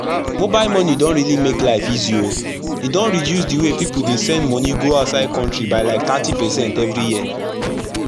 mobile banking don really make life easy o e don reduce d way pipu dey send moni go outside country by like thirty percent everi year